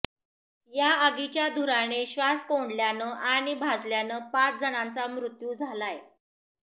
या आगीच्या धुराने श्वास कोंडल्यानं आणि भाजल्यानं पाच जणांचा मृत्यू झालाय